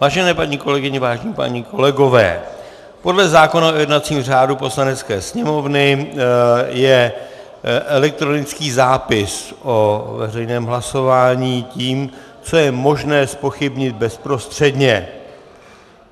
Vážené paní kolegyně, vážení páni kolegové, podle zákona o jednacím řádu Poslanecké sněmovny je elektronický zápis o veřejném hlasování tím, co je možné zpochybnit bezprostředně.